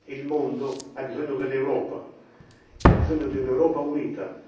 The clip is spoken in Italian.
Il mondo ha bisogno dell'Europa e ha bisogno di un'Europa unita.